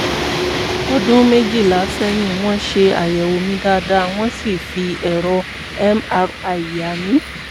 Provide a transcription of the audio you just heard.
ọdún méjìlá sẹ́yìn wọ́n ṣe àyẹ̀wò mi dáadáa wọ́n sì fi ẹ̀rọ mri yà mí